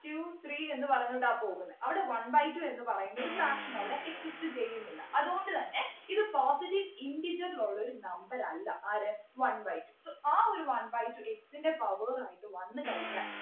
two three എന്ന് പറഞ്ഞിട്ടാ പോകുന്നെ അവിടെ one by two എന്ന് പറയുന്ന ഒരു fraction അവിടെ exist ചെയ്യുന്നില്ല അതുകൊണ്ട് തന്നെ ഇത positive integer ൽ ഉള്ളൊരു number അല്ല ആര് one by two so ആ ഒരു one by two x ൻ്റെ power ആയിട്ട് വന്നു കഴിഞ്ഞാൽ